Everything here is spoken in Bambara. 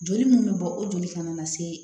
Joli mun be bɔ o joli kana na se